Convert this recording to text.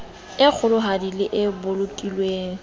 e kgolohadi le e bolokilweng